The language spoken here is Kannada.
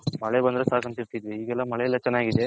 ಮಳೆ ಬಂದ್ರೆ ಸಾಕು ಅಂತಿದ್ವಿ ಈಗ ಎಲ್ಲಾ ಮಳೆ ಚೆನ್ನಾಗಿದೆ.